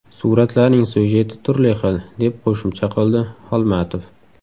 Suratlarning syujeti turli xil, deb qo‘shimcha qildi Holmatov.